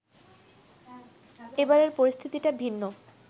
এবারের পরিস্থিতিটিা ভিন্ন